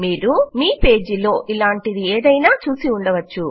మీరు మీ పేజీ లో ఇలాంటిదేదైనా చూసి ఉండవచ్చు